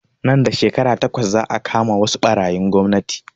Nan da shekara takwas za a kama wasu ɓarayin gwamnati